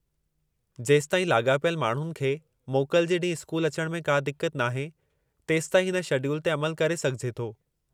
जेसताईं लाॻापियल माण्हुनि खे मोकल जे ॾींहुं स्कूल अचण में का दिक्कत नाहे, तेसताईं हिन शेड्यूल ते अमलु करे सघिजे थो।